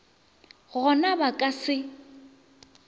go na ba ka se